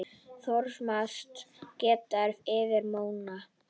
Thomas skreið yfir móann.